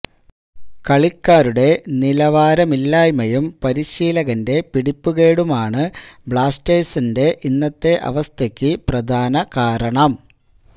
കളിക്കാരുടെ നിലവാരമില്ലായ്മയും പരിശീലകന്റെ പിടിപ്പുകേടുമാണ് ബ്ലാസ്റ്റേഴ്സിന്റെ ഇന്നത്തെ അവസ്ഥയ്ക്ക് പ്രധാന കാരണം